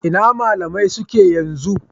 Ina malamai suke yanzu?.